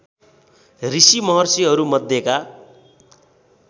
ऋषि महर्षिहरू मध्येका